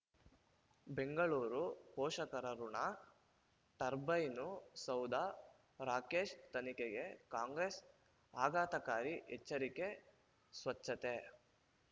ಬೆಂಗಳೂರು ಪೋಷಕರಋಣ ಟರ್ಬೈನು ಸೌಧ ರಾಕೇಶ್ ತನಿಖೆಗೆ ಕಾಂಗ್ರೆಸ್ ಆಘಾತಕಾರಿ ಎಚ್ಚರಿಕೆ ಸ್ವಚ್ಛತೆ